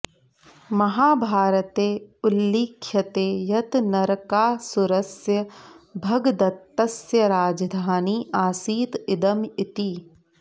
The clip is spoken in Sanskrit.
महाभारते उल्लिख्यते यत् नरकासुरस्य भगदत्तस्य राजधानी आसीत् इदम् इति